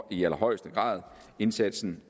i allerhøjeste grad indsatsen